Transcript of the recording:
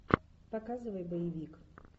показывай боевик